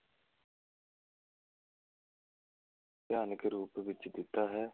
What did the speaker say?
ਭਿਆਨਕ ਰੂਪ ਦਿੱਤਾ ਹੈ l